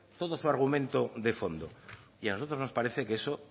todo su argumento de fondo y a nosotros nos parece que eso